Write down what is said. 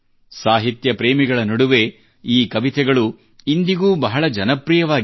ಸಾಹಿತ್ಯ ಪ್ರೇಮಿಗಳ ನಡುವೆ ಈ ಕವಿತೆಗಳು ಇಂದಿಗೂ ಬಹಳ ಜನಪ್ರಿಯವಾಗಿವೆ